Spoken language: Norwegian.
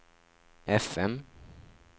FM